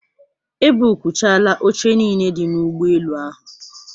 E buukchaala oche niile dị n'ụgbọelu ahụ.